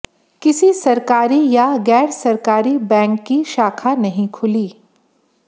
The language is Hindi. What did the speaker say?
किसी सरकारी या गैर सरकारी बैंक की शाखा नहीं खुली